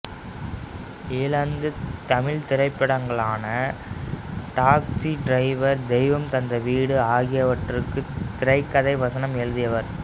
ஈழத்துத் தமிழ்த்திரைப்படங்களான taxi driver தெய்வம் தந்த வீடு ஆகியவற்றுக்கும் திரைக்கதை வசனம் எழுதியவர்